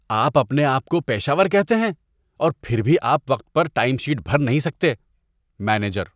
آپ اپنے آپ کو پیشہ ور کہتے ہیں اور پھر بھی آپ وقت پر ٹائم شیٹ بھر نہیں سکتے۔ (مینیجر)